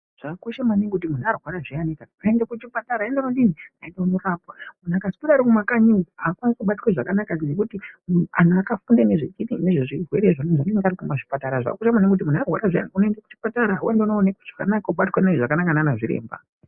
Zvakakosha maningi kuti kana muntu arwara zviyanika aende kuchipatara andodini, aende kundorapwa muntu akaswera arimumakanyi umwu haakwanisi kubatwa zvakanaka ngekuti antu akafunda nezvechiini ngezvezvirwere izvona anenge arikuzvipatara zvaakuda maningi kuti muntu arwara zviya unoende kuchipatara ondoonekwe zvakanaka obatwa mune zvakanaka naana zviremba.